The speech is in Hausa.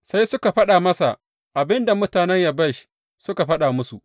Sai suka faɗa masa abin da mutanen Yabesh suka faɗa musu.